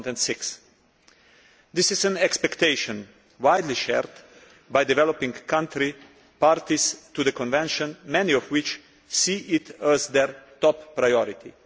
2006. This is an expectation widely shared by developing country parties to the convention, many of which see it as their top priority.